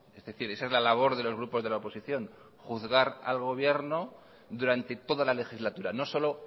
es decir esa es la labor de los grupos de la oposición juzgar al gobierno durante toda la legislatura no solo